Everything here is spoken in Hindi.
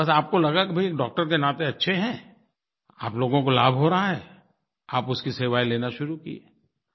बस आपको लगा कि भाई एक डॉक्टर के नाते अच्छे हैं आप लोगो को लाभ हो रहा है आप उसकी सेवाएँ लेना शुरू किए